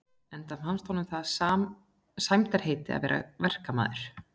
Enda fannst honum það sæmdarheiti að vera verkamaður.